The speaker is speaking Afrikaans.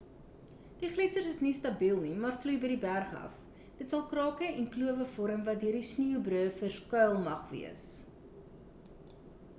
die gletsers is nie stabiel nie maar vloei by die berg af dit sal krake en klowe vorm wat deur sneeubruë verskuil mag wees